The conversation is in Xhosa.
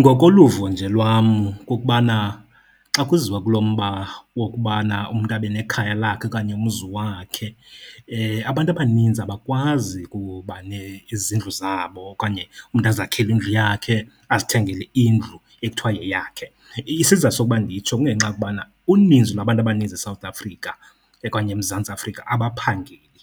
Ngokoluvo nje lwam kukubana xa kuziwa kulo mba wokubana umntu abe nekhaya lakhe okanye umzi wakhe, abantu abaninzi abakwazi kuba izindlu zabo okanye umntu azakhele indlu yakhe, azithengele indlu ekuthiwa yeyakhe. Isizathu sokuba nditsho kungenxa yokubana uninzi lwabantu abaninzi eSouth Africa okanye eMzantsi Afrika abaphangeli.